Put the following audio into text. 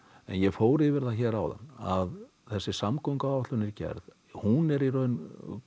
ég fór yfir það hér áðan að þessi samgönguáætlun er gerð hún er í rauninni